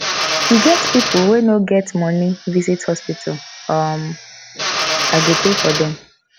e get people wey no get money visit hospital um i go pay for dem